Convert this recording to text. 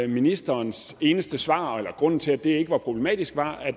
ministerens eneste svar eller grund til at det ikke var problematisk